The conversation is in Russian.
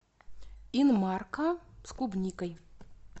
инмарко с клубникой